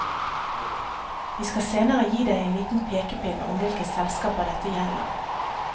Vi skal senere gi deg en liten pekepinn om hvilke selskaper dette gjelder.